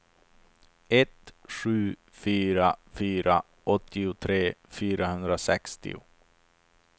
ett sju fyra fyra åttiotre fyrahundrasextio